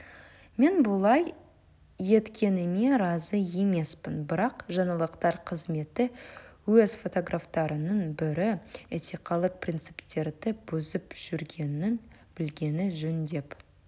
мен бұлай еткеніме разы емеспін бірақ жаңалықтар қызметі өз фотографтарының бірі этикалық принциптерді бұзып жүргенін білгені жөн деп